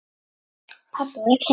Pabbi var ekki heima.